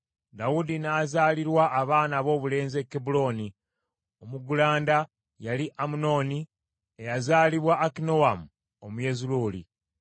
Dawudi n’azaalirwa abaana aboobulenzi e Kebbulooni. Omuggulanda yali Amunoni eyazaalibwa Akinoamu Omuyezuleeri,